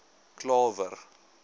klawer